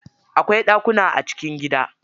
Akwai ɗakuna a cikin gida.